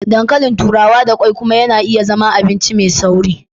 Ɗankalìn turawa da kwai kuma na iya zama abinci mai sauri.